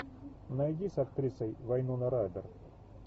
найди с актрисой вайнона райдер